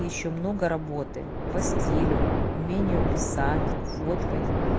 ещё много работы по стилю умению писать фоткать